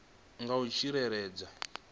na u tsireledzea hu bvaho